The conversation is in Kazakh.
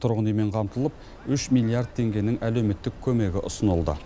тұрғын үймен қамтылып үш миллиард теңгенің әлеуметтік көмегі ұсынылды